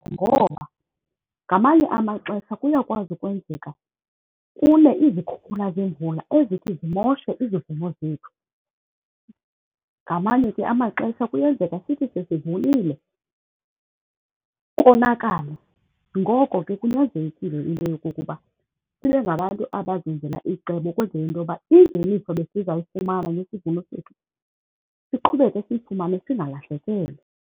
Ngoba ngamanye amaxesha kuyakwazi ukwenzeka kune izikhukhula zemvula ezithi zimoshe izivuno zethu. Ngamanye ke amaxesha kuyenzeka sithi sesivunile konakale, ngoko ke kunyanzelekile into yokokuba sibe ngabantu abazenzela icebo ukwenzela into yoba imveliso besizayifumana nesivuno sethu siqhubeke siyifumane singalahlekelwa.